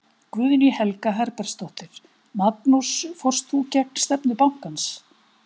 Guðný Helga Herbertsdóttir: Magnús fórst þú gegn stefnu bankans?